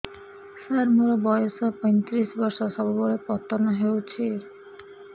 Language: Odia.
ସାର ମୋର ବୟସ ପୈତିରିଶ ବର୍ଷ ସବୁବେଳେ ପତନ ହେଉଛି